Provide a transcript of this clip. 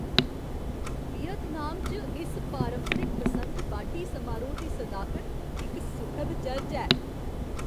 Vietnam च इस पारंपरिक बसंत बाड्ढी समारोह् दी सदाकत इक सुखद चरज ऐ।